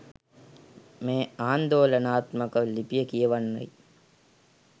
මේ ආන්දෝලනාත්මක ලිපිය කියවන්නයි